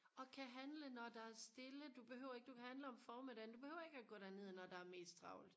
og kan handle når der er stille du behøver ikke du kan hande om formiddagen du behøver ikke og gå derned når der er mest travlt